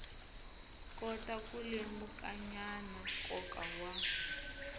kota ku lemukanyana nkoka wa